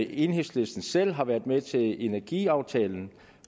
enhedslisten selv har været med til energiaftalen